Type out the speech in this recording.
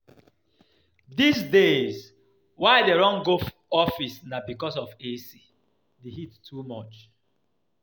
Dis days why I dey run go office na because of AC, the heat too much